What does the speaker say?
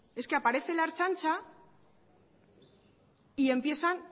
es que aparece la ertzaintza y empiezan